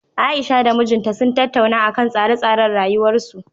Aisha da mijinta sun tattauna akan tsare-tsaren rayuwarsu